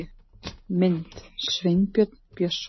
Mynd: Sveinbjörn Björnsson